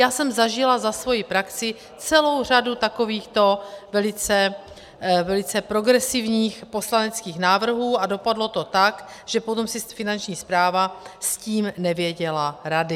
Já jsem zažila za svoji praxi celou řadu takovýchto velice progresivních poslaneckých návrhů a dopadlo to tak, že potom si Finanční správa s tím nevěděla rady.